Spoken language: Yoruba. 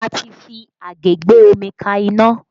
A ti fi àgé gbé omi ka iná